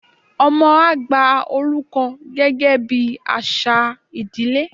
ọmọ a gba oruko gẹgẹ bi aṣa ìdílé